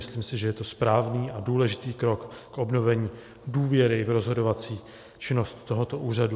Myslím si, že je to správný a důležitý krok k obnovení důvěry v rozhodovací činnost tohoto úřadu.